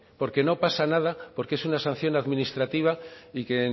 porque no pasa nada porque es una sanción administrativa y que